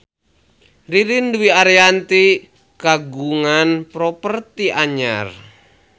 Ririn Dwi Ariyanti kagungan properti anyar